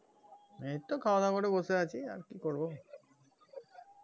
এই তো খাওয়া দাওয়া করে বসে আছি আর কি করবো